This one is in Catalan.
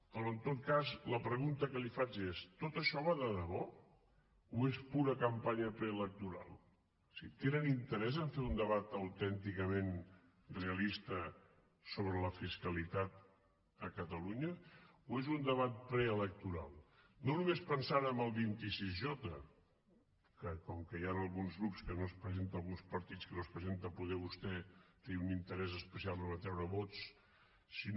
però en tot cas la pregunta que li faig és tot això va de debò o és pura campanya preelectoral o sigui tenen interès a fer un debat autènticament realista sobre la fiscalitat a catalunya o és un debat preelectoral no només pensant en el vint sis j que com que hi han alguns grups que no s’hi presenten alguns partits que no s’hi presenten poder vostè té un interès especial a atreure vots si no